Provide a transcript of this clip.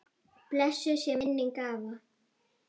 Blessuð sé minning afa.